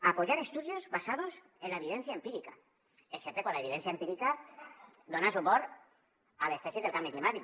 apoyar estudios basados en la evidencia empírica excepte quan l’evidència empírica dona suport a les tesis del canvi climàtic